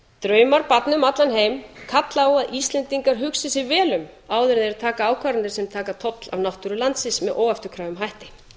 draumar barna um allan heim kalla á að íslendingar hugsi sig vel um áður en þeir taka ákvarðanir um að taka toll af náttúru landsins með óafturkræfum hætti